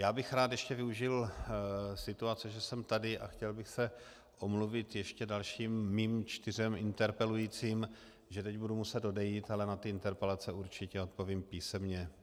Já bych rád ještě využil situace, že jsem tady, a chtěl bych se omluvit ještě dalším svým čtyřem interpelujícím, že teď budu muset odejít, ale na ty interpelace určitě odpovím písemně.